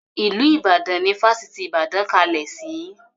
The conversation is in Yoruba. Ilu Ìbàdàn ni Fásitì ìbàdàn kalẹ̀ sì.